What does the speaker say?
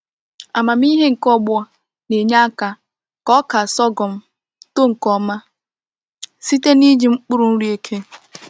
Amamihe nke ọgbọ na-enye aka ka ọka sorghum too nke ọma site n’iji mkpụrụ nri eke.